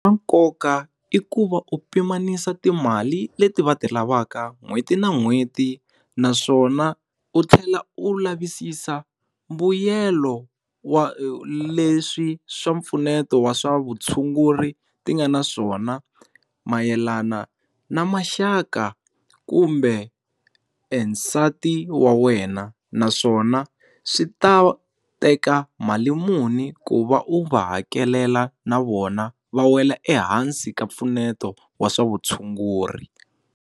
nkoka i ku va u pimanisa timali leti va ti lavaka n'hweti na n'hweti naswona u tlhela u lavisisa mbuyelo wa leswi swa mpfuneto wa swa vutshunguri ti nga na swona, mayelana na maxaka kumbe esati wa wena naswona swi ta teka mali muni ku va u va hakelela na vona va wela ehansi ka mpfuneto wa swa vutshunguri.